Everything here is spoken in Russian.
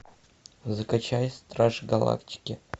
закачай стражи галактики